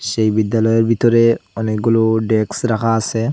সেই বিদ্যালয়ের ভিতরে অনেকগুলো ডেক্স রাখা আসে।